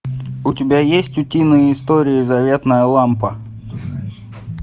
у тебя есть утиные истории заветная лампа